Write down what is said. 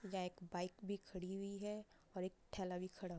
यहा एक बाइक भी खड़ी हुई है और एक ठेला भी खड़ा हु --